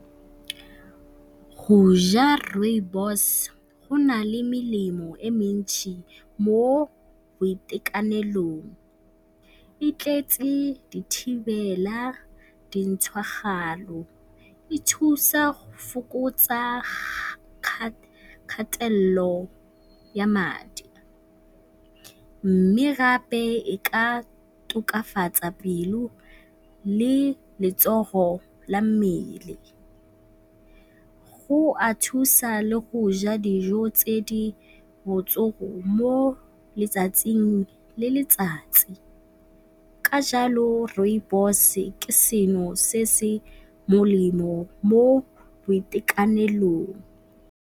Go ja Rooibos go na le melemo e mentsi mo boitekanelong. E tletse dithibela, dintshwagalo, e thusa go fokotsa kgatelelo ya madi mme gape e ka tokafatsa pelo le letsogo la mmele. Go a thusa le go ja dijo tse di mo letsatsing le letsatsi, ka jalo Rooibos ke seno se se molemo mo boitekanelong.